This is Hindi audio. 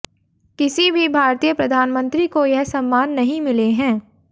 किसी भी भारतीय प्रधानमंत्री को यह सम्मान नहीं मिले हैं